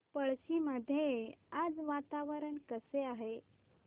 पळशी मध्ये आज वातावरण कसे आहे